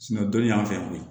dɔnnin y'an fɛ yen ko